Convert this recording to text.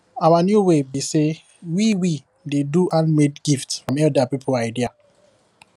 our new way be say we we dey do handmade gift from elder people idea